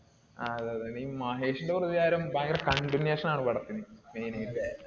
ആ അതെയതെ. നീ മഹേഷിന്റെ പ്രതികാരം ഭയങ്കര continuation ആണാ പടത്തിന്. main ആയിട്ട്.